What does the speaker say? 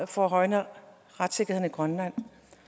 forringer retssikkerheden i grønland